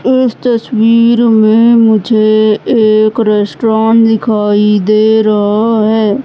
इस तस्वीर में मुझे एक रेस्ट्रॉन्ट दिखाई दे रहा है।